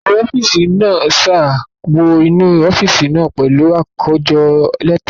Akọ̀we ọ́fíìsì sá wọ inú ọ́fíìsì náà pẹ̀lú àkójọ lẹ́tà lọ́wọ́.